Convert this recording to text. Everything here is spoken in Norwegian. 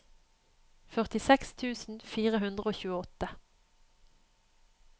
førtiseks tusen fire hundre og tjueåtte